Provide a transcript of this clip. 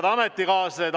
Head ametikaaslased!